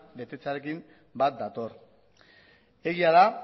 betetzearekin bat dator egia da